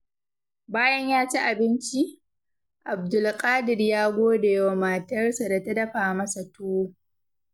Bayan ya ci abinci, Abdulkadir ya gode wa matarsa da ta dafa masa tuwo.